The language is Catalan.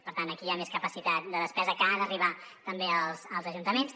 per tant aquí hi ha més capacitat de despesa que ha d’arribar també als ajuntaments